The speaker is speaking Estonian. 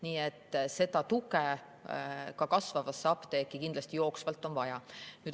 Nii et tuge on ka kasvavasse apteeki jooksvalt kindlasti vaja.